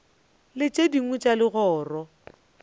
le tše dingwe tša legoro